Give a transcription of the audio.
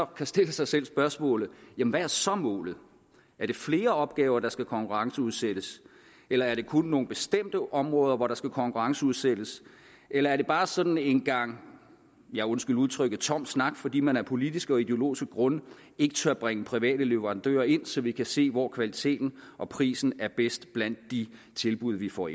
kan stille sig selv spørgsmålet jamen hvad er så målet er det flere opgaver der skal konkurrenceudsættes eller er det kun nogle bestemte områder hvor der skal konkurrenceudsættes eller er det bare sådan en gang ja undskyld udtrykket tom snak fordi man af politiske og ideologiske grunde ikke tør bringe private leverandører ind så vi kan se hvor kvaliteten og prisen er bedst blandt de tilbud vi får